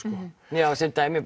já sem dæmi